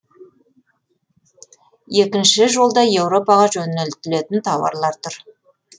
екінші жолда еуропаға жөнелтілетін тауарлар тұр